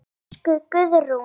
Elsku Guðrún.